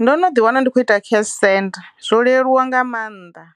Ndo no ḓi wana ndi kho ita cash send zwo leluwa nga mannḓa,